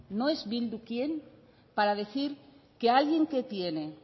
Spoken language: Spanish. no es bildu quien para decir que alguien que tiene